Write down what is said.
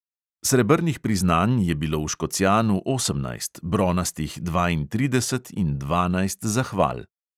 Srebrnih priznanj je bilo v škocjanu osemnajst, bronastih dvaintrideset in dvanajst zahval.